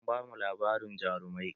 An bamu labarin jarumai